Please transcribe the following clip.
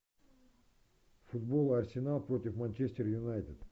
футбол арсенал против манчестер юнайтед